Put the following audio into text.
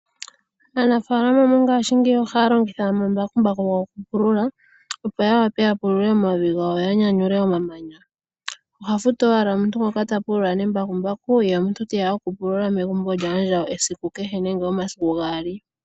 Aanafalama mongashingeyi ohaya longitha omambakumbaku gokupulula, opo ya wape okupulula omavi gawo, yo ya nyanyule omamanya . Ohaya futu wala omuntu ngoka ta pulula nambakukumbaku, ye omuntu teya okupulula maandjawo esiku kehe nenge omasiku gaali.